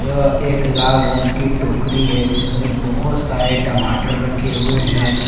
यह एक लाल रंग की टोकरी है जिसमें बहुत सारे टमाटर रखे हुए हैं।